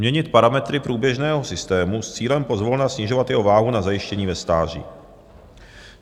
Měnit parametry průběžného systému s cílem pozvolna snižovat jeho váhu na zajištění ve stáří.